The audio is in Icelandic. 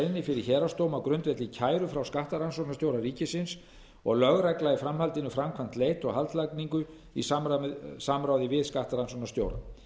fyrir héraðsdómi á grundvelli kæru frá skattrannsóknarstjóra ríkisins og lögregla hefur í framhaldinu framkvæmt leit og haldlagningu í samráði við skattrannsóknarstjóra